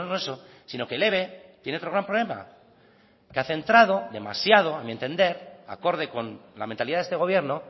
eso sino que el eve tiene otro gran problema que ha centrado demasiado a mi entender acorde con la mentalidad de este gobierno